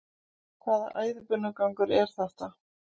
Hvaða æðibunugangur er þetta?